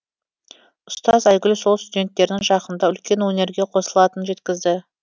ұстаз айгүл сол студенттерінің жақында үлкен өнерге қосылатынын жеткізді